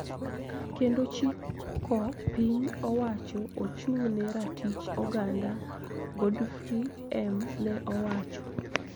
Kendo chiko piny owacho ochung`ne ratich oganda , Godfrey M ne owacho